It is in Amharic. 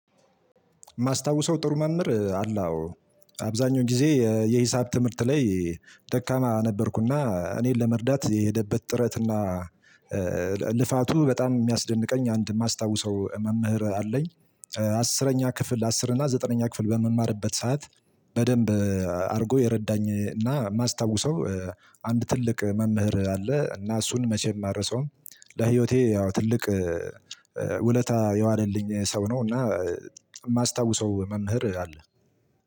ማስታውሰው ጥሩ መምህር አለ። አዎ አብዛኛው ጊዜ የሂሳብ ትምህርት ላይ ደካማ ነበርኩና እኔን ለመርዳት የሄደበት ጥረትና ልፋቱ በጣም የሚያስደንቀኝ አንድ የማስታውሰው መምህር አለኝ። አስረኛ ክፍል አስር እና ዘጠነኛ ክፍል በምማርበት ሰዓት። በደንብ አድርጎ የረዳኝ እና የማስታውሰው አንድ ትልቅ መምህር አለ እና እሱን መቼም አረሳውም። ለህይወቴ ያው ትልቅ ውለታ የዋለልኝ ሰው ነው። እና የማስታውሰው መምህር አለ።